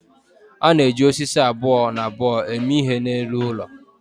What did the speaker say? a na-eji osisi abụọ na abụọ eme ihe n'elu ụlọ